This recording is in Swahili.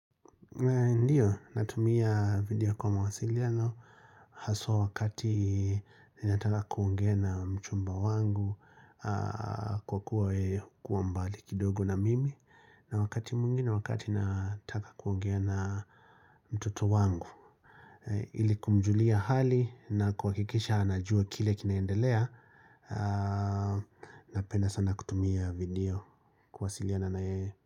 Ndiyo, natumia video kwa mawasiliano, haswa wakati ninataka kuongea na mchumba wangu kwa kuwa mbali kidogo na mimi na wakati mwingi na wakati nataka kuongea na mtoto wangu ili kumjulia hali na kuhakikisha anajua kile kinaendelea, napenda sana kutumia video kuwasiliana na yeye.